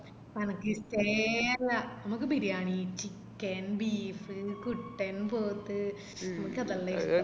എനക്ക് ഇഷ്ട്ടെ അല്ല എനക്ക് ബിരിയാണി chicken beef കുട്ടൻ പോത്ത് അനക്കാതെല്ലാ